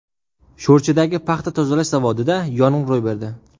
Sho‘rchidagi paxta tozalash zavodida yong‘in ro‘y berdi.